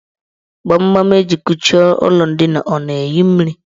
Gbamgbam eji kuchie ụlọ ndina ọ na-eyi mmiri?